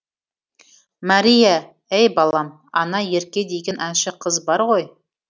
мәрия әй балам ана ерке деген әнші қыз бар ғой